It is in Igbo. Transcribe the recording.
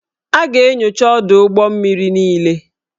A ga-enyocha ọdụ ụgbọ mmiri niile